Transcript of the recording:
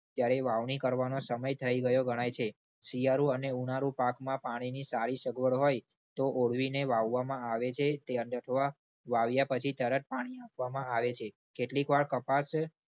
ત્યારે વાવણી કરવાનો સમય થઈ ગયો ગણાય છે. શિયાળું અને ઉનાળું પાકમાં પાણીની સારી સગવડ હોય તો ઓવલીને વાવવામાં આવે છે. ત્યાં જ અથવા વાવ્યા પછી તરત પાણી આપવામાં આવે છે. કેટલીક વાર કપાસ